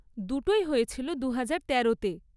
দুটোই হয়েছিল দুহাজার তেরোতে।